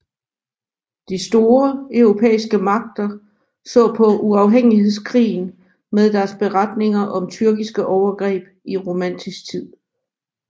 De store europæiske magter så på uafhængighedskrigen med deres beretninger om tyrkiske overgreb i romantisk tid